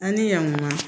An ni yan kuma